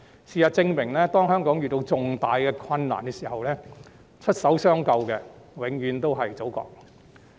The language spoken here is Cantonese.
事實證明，當香港遇到重大困難的時候，出手相救的永遠都是祖國。